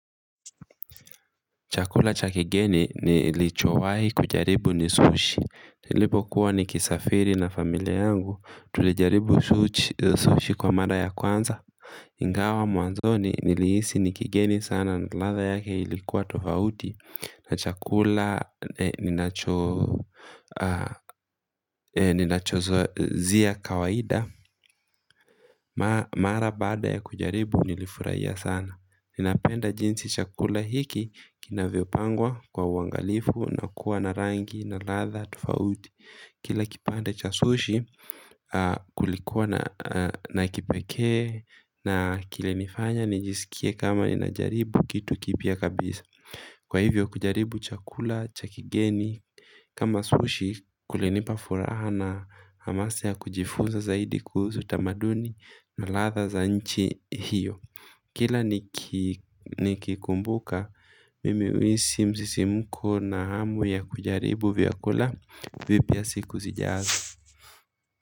Chakula cha kigeni nilichowahi kujaribu ni sushi. Nilipo kuwa ni kisafiri na familia yangu. Tulijaribu sushi kwa mara ya kwanza. Ingawa mwanzoni nilihisi ni kigeni sana na ladha yake ilikuwa tofauti. Na chakula ni nachozia kawaida. Mara baada ya kujaribu nilifurahia sana. Ninapenda jinsi chakula hiki kina vyopangwa kwa uangalifu na kuwa na rangi na ladha tofauti kila kipande cha sushi kulikuwa na kipekee na kile nifanya nijisikie kama ninajaribu kitu kipya kabisa, kwa hivyo kujaribu chakula cha kigeni kama sushi kulinipa furaha na hamasa ya kujifunza zaidi kuhusu tamaduni na ladha za nchi hiyo kila nikikumbuka, mimi huhisi msisimko na hamu ya kujaribu vyakula vipya siku zijazo.